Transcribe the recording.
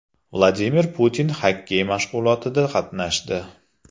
Vladimir Putin xokkey mashg‘ulotida qatnashdi .